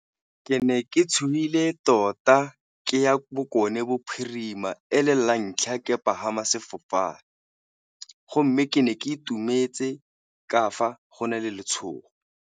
Ke ne ke tshogile tota ke ya Bokone Bophirima e le la ntlha ke pagama sefofane, go mme ke ne ke itumetse ka fa go na le letshogo.